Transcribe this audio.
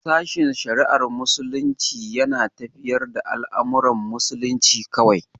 Sashen shari'ar Muslunci yana tafiyar da al'amuran musulunci kawai.